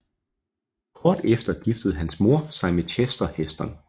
Kort tid efter giftede hans mor sig med Chester Heston